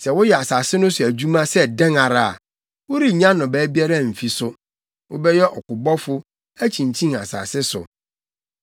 Sɛ woyɛ asase no so adwuma sɛ dɛn ara a, worennya nnɔbae biara mfi so. Wobɛyɛ ɔkobɔfo, akyinkyin asase so.”